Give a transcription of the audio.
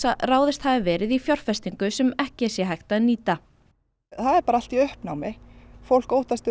að ráðist hafi verið í fjárfestingu sem ekki sé hægt að nýta það er bara allt í uppnámi fólk óttast